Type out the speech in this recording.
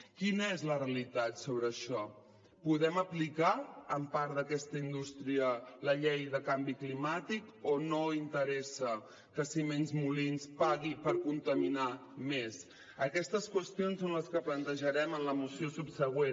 quina és la realitat sobre això podem aplicar en part d’aquesta indústria la llei de canvi climàtic o no interessa que ciments molins pagui per contaminar més aquestes qüestions són les que plantejarem en la moció subsegüent